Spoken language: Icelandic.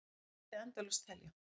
Þannig mætti endalaust telja.